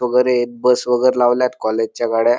वगैरे बस वगैरे लावल्यात कॉलेजच्या गाड्या --